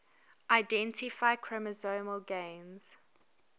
identify chromosomal gains